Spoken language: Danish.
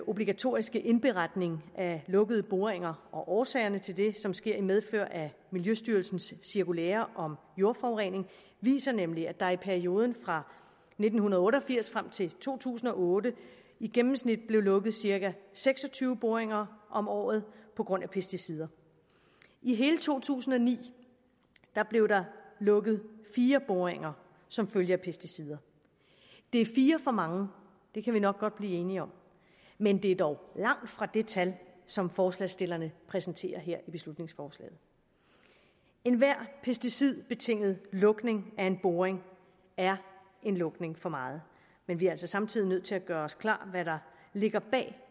obligatoriske indberetning af lukkede boringer og årsagerne til det som sker i medfør af miljøstyrelsens cirkulære om jordforurening viser nemlig at der i perioden fra nitten otte og firs frem til to tusind og otte i gennemsnit blev lukket cirka seks og tyve boringer om året på grund af pesticider i hele to tusind og ni blev der lukket fire boringer som følge af pesticider det er fire for mange det kan vi nok godt blive enige om men det er dog langt fra det tal som forslagsstillerne præsenterer her i beslutningsforslaget enhver pesticidbetinget lukning af en boring er en lukning for meget men vi er altså samtidig nødt til at gøre os klart hvad der ligger bag